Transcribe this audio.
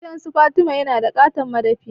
Gidansu Fatima yana da ƙaton madafi.